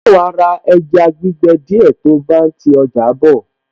Ṣe wàá ra ẹja gbígbẹ díẹ̀ tí o bá ń ti ọjà bọ̀?